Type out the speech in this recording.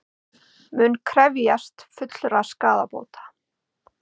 Munu krefjast fullra skaðabóta